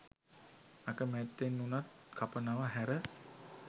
අකමැත්තෙන් වුණත් කපනව හැර.